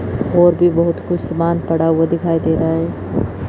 और भी बहोत कुछ सामान पड़ा हुआ दिखाई दे रहा है।